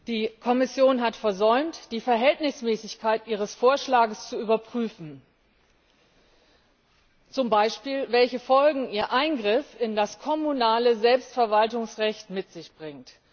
Die Kommission hat versäumt, die Verhältnismäßigkeit ihres Vorschlags zu überprüfen, zum Beispiel welche Folgen ihr Eingriff in das kommunale Selbstverwaltungsrecht mit sich bringt.